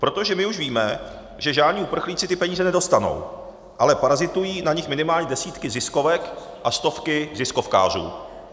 Protože my už víme, že žádní uprchlíci ty peníze nedostanou, ale parazitují na nich minimálně desítky ziskovek a stovky ziskovkářů.